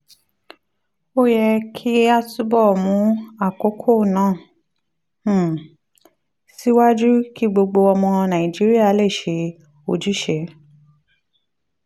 ó yẹ kí a túbọ̀ mú àkókò náà um síwájú kí gbogbo ọmọ nàìjíríà lè ṣe ojúṣe